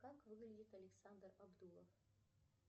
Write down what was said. как выглядит александр абдулов